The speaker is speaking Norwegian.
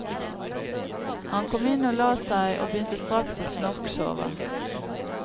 Han kom inn og la seg, og begynte straks å snorksove.